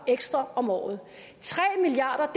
ekstra om året tre milliard